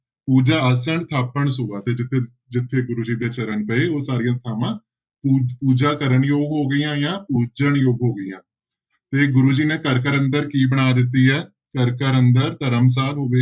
ਪੂਜਾ ਆਸਣ ਥਾਪਣ ਸੋਆ ਤੇ ਜਿੱਥੇ ਜਿੱਥੇ ਗੁਰੂ ਜੀ ਦੇ ਚਰਨ ਪਏ ਉਹ ਸਾਰੀਆਂ ਥਾਵਾਂ ਪੂਜ ਪੂਜਾ ਕਰਨ ਯੋਗ ਹੋ ਗਈਆਂ ਜਾਂ ਪੂਜਣਯੋਗ ਹੋ ਗਈਆਂ, ਤੇ ਗੁਰੂ ਜੀ ਨੇ ਘਰ ਘਰ ਅੰਦਰ ਕੀ ਬਣਾ ਦਿੱਤੀ ਹੈ? ਘਰ ਘਰ ਅੰਦਰ ਧਰਮਸ਼ਾਲ ਹੋ ਗਏ,